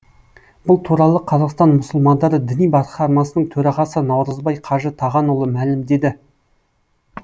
бұл туралы қазақстан мұсылмандары діни басқармасының төрағасы наурызбай қажы тағанұлы мәлімдеді